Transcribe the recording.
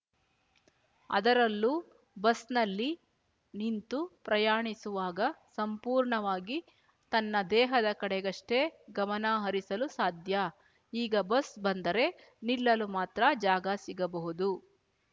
ಅದರಲ್ಲೂ ಬಸ್‍ನಲ್ಲಿ ನಿಂತು ಪ್ರಯಾಣಿಸುವಾಗ ಸಂಪೂರ್ಣವಾಗಿ ತನ್ನ ದೇಹದ ಕಡೆಗಷ್ಟೇ ಗಮನ ಹರಿಸಲು ಸಾಧ್ಯ ಈಗ ಬಸ್ ಬಂದರೆ ನಿಲ್ಲಲು ಮಾತ್ರ ಜಾಗ ಸಿಗಬಹುದು